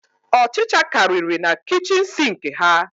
Ọchicha kariri na kichin sinki ha